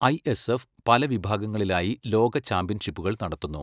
ISF പല വിഭാഗങ്ങളിലായി ലോക ചാമ്പ്യൻഷിപ്പുകൾ നടത്തുന്നു.